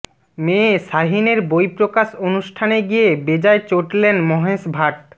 মেয়ে শাহিনের বইপ্রকাশ অনুষ্ঠানে গিয়ে বেজায় চটলেন মহেশ ভাট